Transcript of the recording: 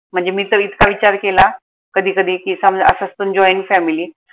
म्हनजे मी त इतका विचार केला कधी कधी की समजा असं पन jointfamily